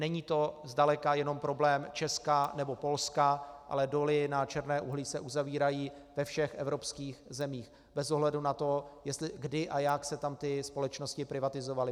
Není to zdaleka jenom problém Česka nebo Polska, ale doly na černé uhlí se uzavírají ve všech evropských zemích bez ohledu na to, kdy a jak se tam ty společnosti privatizovaly.